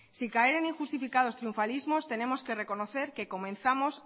sin caer en injustificados triunfalismos tenemos que reconocer que comenzamos